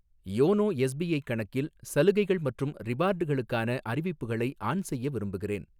YONO SBI கணக்கில் சலுகைகள் மற்றும் ரிவார்டுகளுக்கான அறிவிப்புகளை ஆன் செய்ய விரும்புகிறேன்.